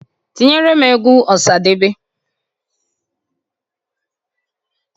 Tinyeere m egwu Ọsadebe!